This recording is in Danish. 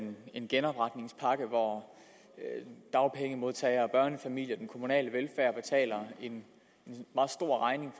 en genopretningspakke hvor dagpengemodtagere og børnefamilier den kommunale velfærd betaler en meget stor regning